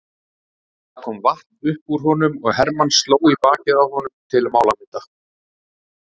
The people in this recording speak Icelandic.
Það kom vatn upp úr honum og Hermann sló í bakið á honum til málamynda.